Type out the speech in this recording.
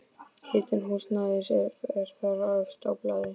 Hitun húsnæðis er þar efst á blaði.